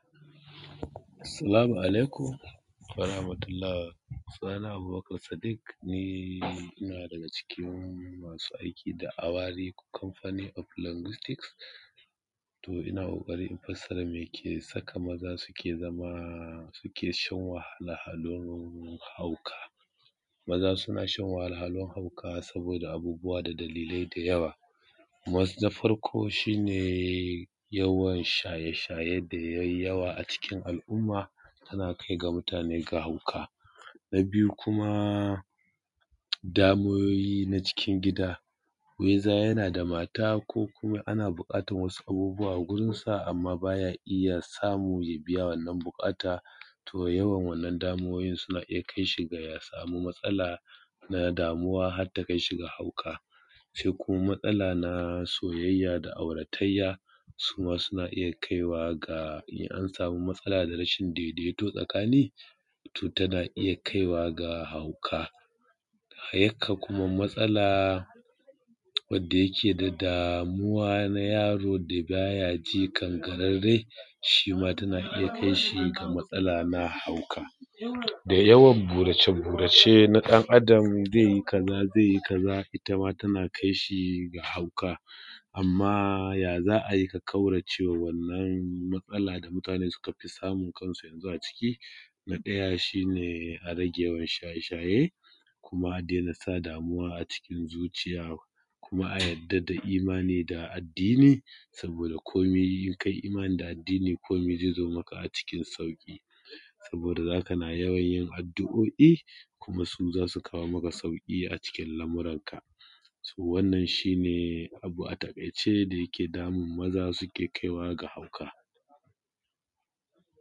Salamu alaikum wa rahmatulah sunana Abubakar Sadik ni ina daga cikin masu aiki da awari component of linguistics to ina ƙoƙari in fasara me ke saka maza suke zama suke shan wahala a domin hauka. Maza suna shan wahalhalun hauka saboda abubuwa da dalilai da yawa na farko shi ne yawan shaye shaye da ya yi yawa a cikin al’umma tana kai da mutane da hauka. Na biyu kuma damuwowi na cikin gida weza yana da mata ko kuma ana buƙatar wasu abubuwa gurinsa baya iya samu ya biya wannan buƙata, to yawan wannan damuwowin suna kai shi ga ya samu matsala na damuwa har takai shi ga hauka, sai kuma matsala na soyayya da auratayya suma suna iya kaiwa ga an samu matsala na rashin daidaito tsakani. To, tana iya kaiwa ga hauka yakan kuma matsala wadda yake da damuwa na yaro kangararre shi ma tana iya kai shi ga matsala na hauka da yawan burace-burace na ɗan’Adam zai yi kaza, zai yi kaza ita ma tana kai shi ga hauka amma ya za a yi a ƙaurace wa wannan matsala da mutane suka fi samu kansu a ciki na ɗaya shi ne a rage yawan shaye- shaye kuma a dena sa damuwa a cikin zuciya kuma a yadda da imani da addini saboda komi in kai imani da addini komi zai zo maka a cikin sauƙi saboda za kana yawanyin addu’oi kuma su za su kawo maka sauƙi cikin lamuranka so wannan shi ne abu a taƙaice da yake damun maza suke kai wa ga hauka.